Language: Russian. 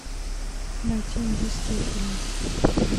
найти индийские фильмы